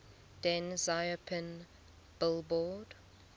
deng xiaoping billboard